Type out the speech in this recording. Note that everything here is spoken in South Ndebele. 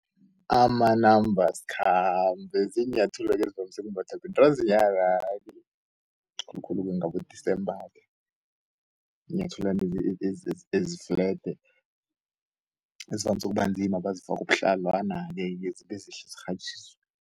Amanambasikhambe ziinyathelo-ke ezivamise ukumbathwa bentazinyana-ke akhulumi ngabo-December-ke. Yinyathelwana ezi-flede ezivamsu ukubanzima bazifaku ubuhlalwana-ke, zikghatjiswe